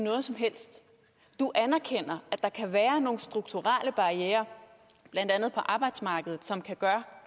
noget som helst du anerkender at der kan være nogle strukturelle barrierer blandt andet på arbejdsmarkedet som kan gøre